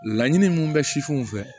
Laɲini min bɛ sifinw fɛ